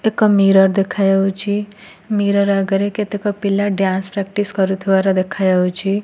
ଏକ ମିରର ଦେଖାଯାଉଛି। ମିରର ଆଗରେ କେତେକ ପିଲା ଡ୍ୟାନ୍ସ ପ୍ରାକ୍ଟିସ୍ କରୁଥିବାର ଦେଖାଯାଉଛି।